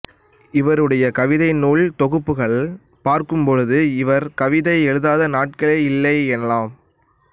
இவருடைய கவிதை நூல் தொகுப்புகளைப் பார்க்கும்போது இவர் கவிதை எழுதாத நாட்கள் இல்லை எனலாம்